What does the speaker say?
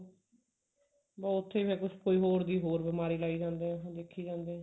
ਤਾਂ ਉੱਥੋਂ ਹੀ ਫੇਰ ਕੁੱਛ ਕੋਈ ਹੋਰ ਦੀ ਹੋਰ ਬਿਮਾਰੀ ਲਾਈ ਜਾਂਦੇ ਐ ਦੇਖੀ ਜਾਂਦੇ ਐ